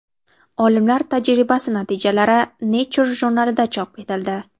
Olimlar tajribasi natijalari Nature jurnalida chop etildi .